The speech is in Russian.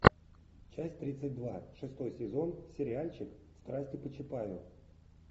часть тридцать два шестой сезон сериальчик страсти по чапаю